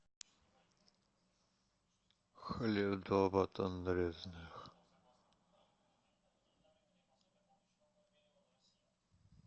хлеб два батона нарезных